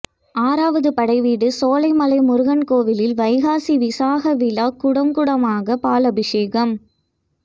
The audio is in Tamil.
ஆறாவது படைவீடு சோலைமலை முருகன் கோவிலில் வைகாசி விசாக விழா குடம் குடமாக பாலாபிஷேகம்